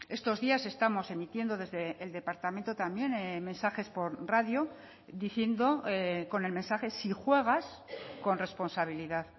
estos días estamos emitiendo desde el departamento también mensajes por radio diciendo con el mensaje si juegas con responsabilidad